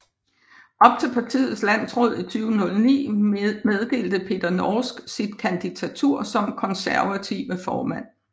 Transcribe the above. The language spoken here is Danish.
Op til partiets landsråd i 2009 meddelte Peter Norsk sit kandidatur som Konservative formand